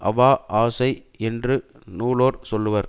அவா ஆசை என்று நூலோர் சொல்லுவர்